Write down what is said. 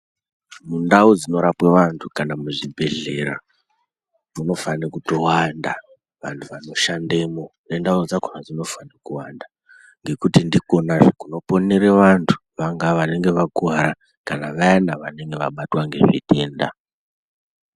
Ndau dzinorapwa vantu kana muzvibhodhlera munofane kutowanda vantu vanoshandemo nendau dzakhona dzinofane kuwanda ngekuti ndikonazve kunoponere vantu vanenge vakuwara kana vanenge vabatwa ngezvitenda.